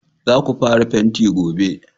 Za ku fara fenti gobe!